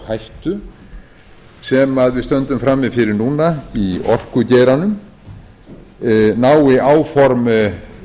hættu sem við stöndum frammi fyrir núna í orkugeiranum nái áform